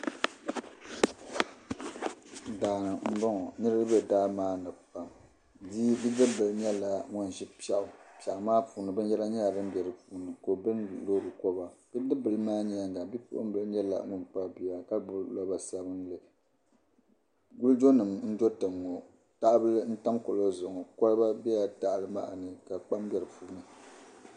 Daa m-bɔŋɔ. Niriba be daa maa ni pam. Bidibibila nyɛla ŋun ʒi piɛɣu. Piɛɣu maa puuni binyɛra nyɛla dim be di puuni ka o bilindi loori kɔba. Bidibibila maa nyaaŋga bipuɣimbila nyɛla ŋun kpabi bia ka gbibi loba sabilinli. Wulijonima n-do tiŋa ŋɔ tahabila n-tam kuɣili zuɣu ŋɔ koliba bela tahali maa ni ka kpaam be di puuni.